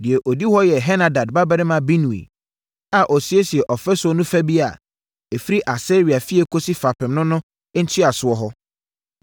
Deɛ ɔdi hɔ yɛ Henadad babarima Binui a ɔsiesiee ɔfasuo no fa bi a, ɛfiri Asaria fie kɔsi fapem no ne ntweasoɔ hɔ.